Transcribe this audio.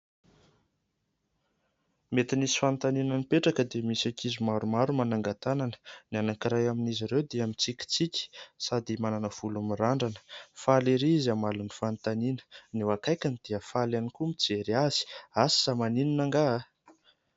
Mety nisy fanontaniana nipetraka dia misy ankizy maro maro manangan-tanana ; ny anankiray amin'izy ireo dia mitsikitsiky sady manana volo mirandrana ; faly ery izy mamaly ny fanontaniana. Ny eo akaikiny dia faly ihany koa mijery azy ; asa maninona angaha ?